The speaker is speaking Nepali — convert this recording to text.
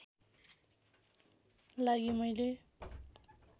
लागि मैले